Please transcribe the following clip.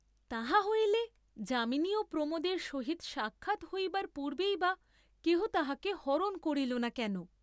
তাহা হইলে যামিনী ও প্রমোদের সহিত সাক্ষাৎ হইবার পূর্ব্বেই বা কেহ তাহাকে হরণ করিল না কেন?